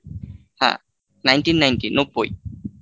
হ্যাঁ nineteen ninety নব্বই